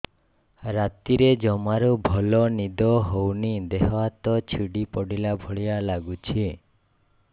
ରାତିରେ ଜମାରୁ ଭଲ ନିଦ ହଉନି ଦେହ ହାତ ଛିଡି ପଡିଲା ଭଳିଆ ଲାଗୁଚି